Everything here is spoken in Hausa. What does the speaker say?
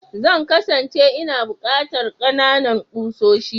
Zan kasance ina buƙatar kanana ƙusoshi.